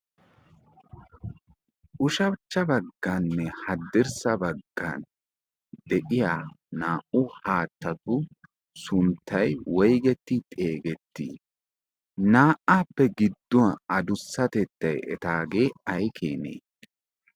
ushabchcha bagganne haddirssa baggan de'iya naa'u haattatu sunttai woigetti xeegettii naa''aappe gidduwan adussatettai etaagee ay keenee?